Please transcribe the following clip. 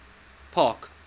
park